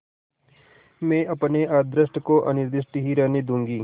मैं अपने अदृष्ट को अनिर्दिष्ट ही रहने दूँगी